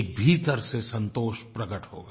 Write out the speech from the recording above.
एक भीतर से संतोष प्रकट होगा